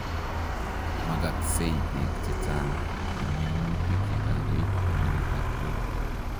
Makaksei beek chechang' eng minutik ye kakoit konem taptok